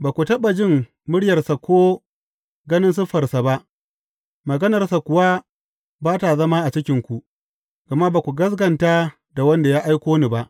Ba ku taɓa jin muryarsa ko ganin siffarsa ba, maganarsa kuwa ba ta zama a cikinku, gama ba ku gaskata da wanda ya aiko ni ba.